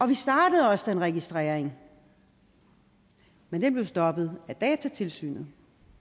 vi startede også den registrering men den blev stoppet af datatilsynet